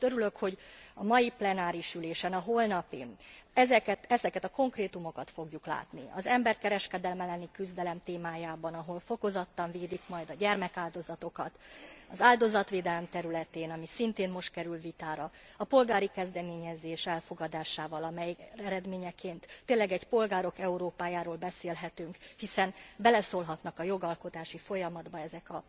Ezért örülök, hogy a holnapi plenáris ülésen, ezeket a konkrétumokat fogjuk látni az emberkereskedelem elleni küzdelem témájában, ahol fokozottan védik majd a gyermekáldozatokat az áldozatvédelem területén, ami szintén most kerül vitára a polgári kezdeményezés elfogadásával, amely eredményeként tényleg egy polgárok Európájáról beszélhetünk, hiszen beleszólhatnak a jogalkotási folyamatba ezek